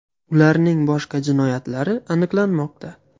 Ularning boshqa jinoyatlari aniqlanmoqda.